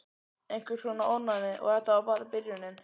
Einhvers konar ofnæmi. Og þetta var bara byrjunin.